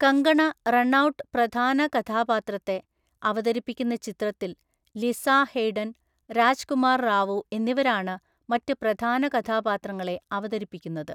കങ്കണ റണൌട്ട് പ്രധാന കഥാപാത്രത്തെ അവതരിപ്പിക്കുന്ന ചിത്രത്തിൽ ലിസ ഹെയ്ഡൻ, രാജ്കുമാർ റാവു എന്നിവരാണ് മറ്റ് പ്രധാന കഥാപാത്രങ്ങളെ അവതരിപ്പിക്കുന്നത്.